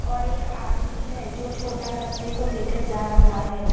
और एक आदमी है जो छोटा बच्चे को लेकर जा रहा है।